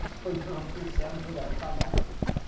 Eu só olhava para o céu, não olhava para nada.